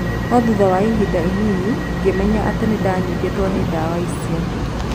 No thutha wa ihinda inini, ngĩmenya atĩ nĩ ndanyitĩtwo nĩ ndawa icio.